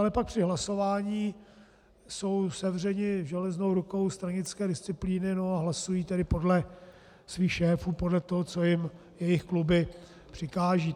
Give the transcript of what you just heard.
Ale pak při hlasování jsou sevřeni železnou rukou stranické disciplíny,a hlasují tedy podle svých šéfů, podle toho, co jim jejich kluby přikážou.